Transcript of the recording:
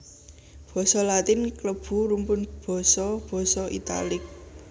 Basa Latin klebu rumpun basa basa Italik